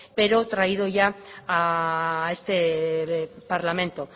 pero traído ya a este parlamento